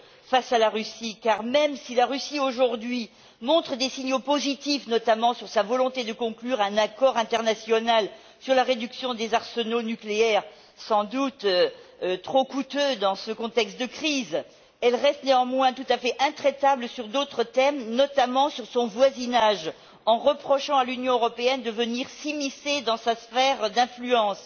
face à la Russie car, même si aujourd'hui, la Russie envoie des signaux positifs, notamment sur sa volonté de conclure un accord international sur la réduction des arsenaux nucléaires, sans doute trop coûteux dans ce contexte de crise, elle reste néanmoins tout à fait intraitable sur d'autres thèmes, notamment sur son voisinage, en reprochant à l'Union européenne de venir s'immiscer dans sa sphère d'influence.